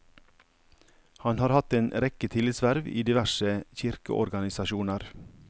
Han har hatt en rekke tillitsverv i diverse kirkeorganisasjoner.